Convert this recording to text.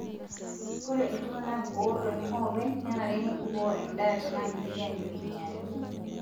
Ore iltung'ana ootoni oopeny nenare neibukoo endaa tena keiteki ajo einyale.